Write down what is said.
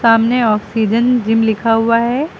सामने oxygen gym लिखा हुआ है।